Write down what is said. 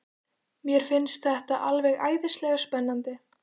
Mér finnst þetta alveg æðislega spennandi.